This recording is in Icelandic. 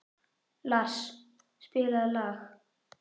Lars, spilaðu lag.